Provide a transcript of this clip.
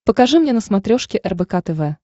покажи мне на смотрешке рбк тв